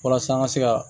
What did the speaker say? Walasa an ka se ka